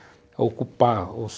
Ocupar ou